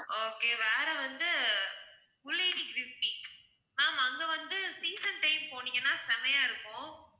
okay வேற வந்து ma'am அங்க வந்து season time போனீங்கன்னா செம்மையா இருக்கும்